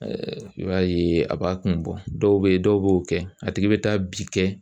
i b'a ye a b'a kun bɔ dɔw bɛ ye dɔw b'o kɛ a tigi bɛ taa bi kɛ